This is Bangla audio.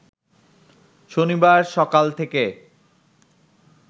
শনিবার সকাল থেকে